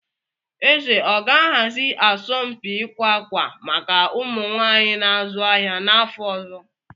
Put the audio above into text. Eze ọ ga-ahazi asọmpi ịkwa akwa maka ụmụ nwanyị na-azu ahịa n'afọ ọzọ?